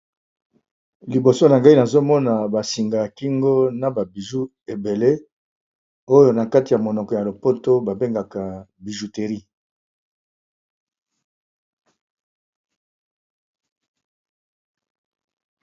liboso na ngai nazomona basinga ya kingo na babiju ebele oyo na kati ya monoko ya lopoto babengaka bijuteri